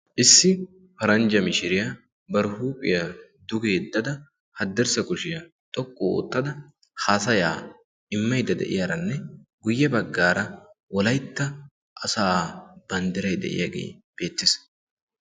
Issi paranjja mishiriya bari huuphiya duge yeddada haddirssa kushiya xoqqu oottada haasayaa immaydda de'iyaranne guyye baggaara Wolaytta asaa banddiray de'iyagee beettees.